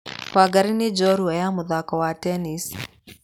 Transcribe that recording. Wangarĩ nĩ njorua ya mũthako wa tennis.